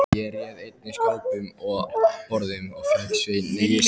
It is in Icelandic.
Ég réð einnig skápum og borðum og fékk Svein